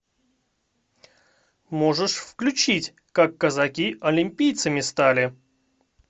можешь включить как казаки олимпийцами стали